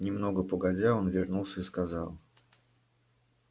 немного погодя он вернулся и сказал